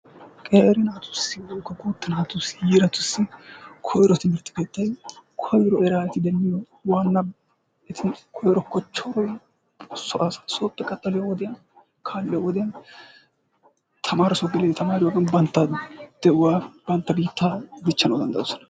qeeri naatussi woykko guutta naatussi yiiratussi koyrotiidi koyro eti eraa demmiyo waanabay koyro kochchoroy so asaa, sooppe qaxxaliyo wodiyaan kaalliyo wodiyaan tamaresso geliyoode tamaariyoogan bantta de'uwaa bantta biittaa dichchanawdanddayoosona.